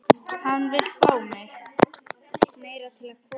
Hann vill fá mig.